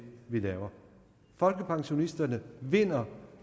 vi laver folkepensionisterne vinder